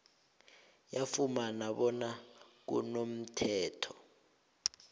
yafumana bona kunomthetho